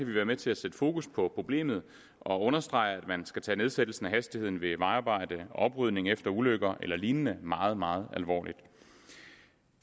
vi være med til at sætte fokus på problemet og understrege at man skal tage nedsættelsen af hastigheden ved vejarbejder oprydning efter ulykker eller lignende meget meget alvorligt